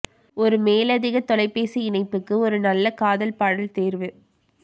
ஒரு மேலதிக தொலைபேசி இணைப்புக்கு ஒரு நல்ல காதல் பாடல் தேர்வு